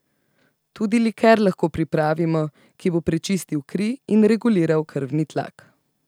Tudi liker lahko pripravimo, ki bo prečistil kri in reguliral krvni tlak.